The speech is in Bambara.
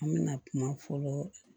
An me na kuma fɔlɔ